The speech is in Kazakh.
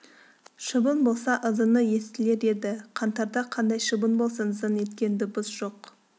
шыбын болса ызыңы естілер еді қаңтарда қайдан шыбын болсын зың еткен дыбыс жоқ